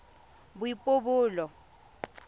boipobolo